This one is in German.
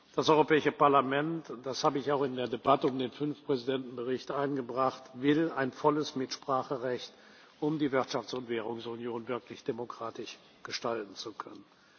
Das Europäische Parlament und das habe ich auch in der Debatte um den Fünf Präsidenten Bericht eingebracht will ein volles Mitspracherecht, um die Wirtschafts und Währungsunion wirklich demokratisch gestalten zu können.